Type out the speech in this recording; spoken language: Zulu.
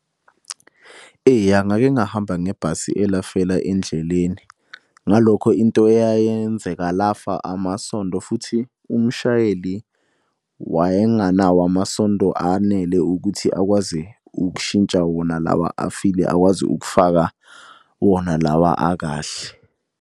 Eya ngake ngahamba ngebhasi elafela endleleni. Ngalokho into eyayenzeka lafa amasondo futhi umshayeli wayenganawo amasondo anele ukuthi akwazi ukushintsha wona lawa afile, akwazi ukufaka wona lawa akahle.